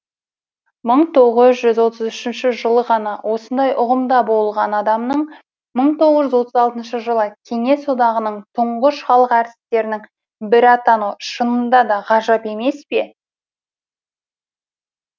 мың тоғыз отыз үшінші жылы ғана осындай ұғымда болған адамның мың тоғыз жүз отыз алтыншы жылы кеңес одағының тұңғыш халық әртістерінің бірі атануы шынында да ғажап емес пе